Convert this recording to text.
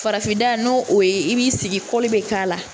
Farafin da n'o ye i b'i sigi be k'a la.